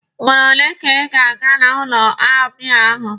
Ugboro ole ka ị ga-aga n'ụlọ ọbịa ahụ?